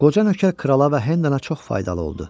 Qoca nökər krala və Hendana çox faydalı oldu.